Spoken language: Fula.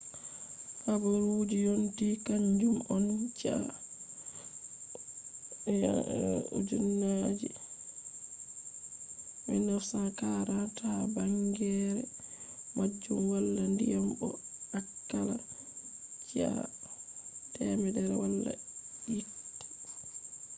habaruji yonti kanjum on chi'a 9400 ha bangeere majum wala diyam bo akalla chi'a 100 wala yite